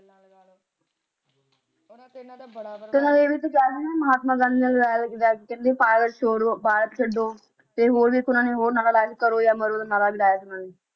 ਤੇ ਇਹਨਾਂ ਨੇ ਵੀ ਇਹ ਸੀ ਨਾ ਮਹਾਤਮਾ ਗਾਂਧੀ ਨਾਲ ਨਾਰਾ ਵੀ ਲਾਇਆ ਸੀ ਨਾ ਕਹਿੰਦੇ ਭਾਰਤ ਛੋੜੋ ਭਾਰਤ ਛੱਡੋ ਤੇ ਹੋਰ ਫੇਰ ਓਹਨਾ ਨੇ ਇੱਕ ਹੋਰ ਆਰਾ ਲਾਇਆ ਸੀ ਕਰੋ ਆ ਮਰੋ ਦਾ ਨਾਰਾ ਵੀ ਲਾਇਆ ਸੀ ਇਹਨਾਂ ਨੇ